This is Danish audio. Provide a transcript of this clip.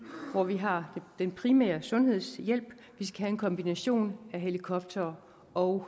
hvor vi har den primære sundhedshjælp og en kombination af helikoptere og